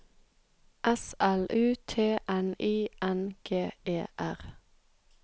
S L U T N I N G E R